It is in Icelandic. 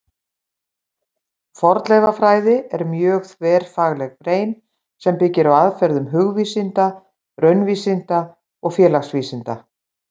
Fornleifafræði er mjög þverfagleg grein sem byggir á aðferðum hugvísinda, raunvísinda og félagsvísinda.